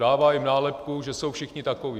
Dává jim nálepku, že jsou všichni takoví.